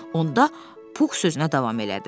Onda Pux sözünə davam elədi.